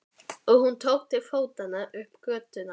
Og hún tók til fótanna upp götuna.